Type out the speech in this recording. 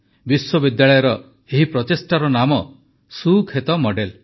ବିଶ୍ୱବିଦ୍ୟାଳୟର ଏହି ପ୍ରଚେଷ୍ଟାର ନାମ ସୁକ୍ଷେତ ମଡେଲ୍